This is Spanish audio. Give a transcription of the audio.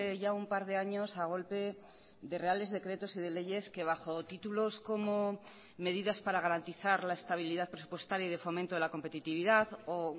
ya un par de años a golpe de reales decretos y de leyes que bajo títulos como medidas para garantizar la estabilidad presupuestaria y de fomento de la competitividad o